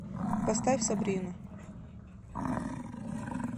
поставь сабрину